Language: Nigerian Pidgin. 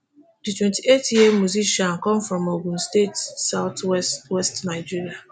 di twenty-eight year old musician come from ogun state south west west nigeria